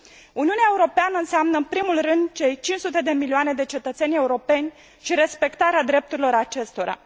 Uniunea Europeană înseamnă în primul rând cei 500 de milioane de cetățeni europeni și respectarea drepturilor acestora.